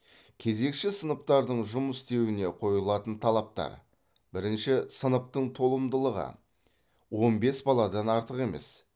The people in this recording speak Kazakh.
кезекші сыныптардың жұмыс істеуіне қойылатын талаптар бірінші сыныптың толымдылығы он бес баладан артық емес